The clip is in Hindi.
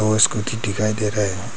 और स्कूटी दिखाई दे रहा है।